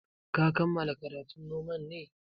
Ka kammala karatun noman ne?